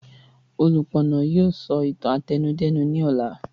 Olúpọ̀nà yìí sọ ìtàn àtẹnudẹ́nu ni ọ̀la